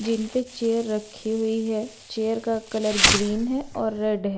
जिन पे चेयर रखी हुई है चेयर का कलर ग्रीन है और रेड है।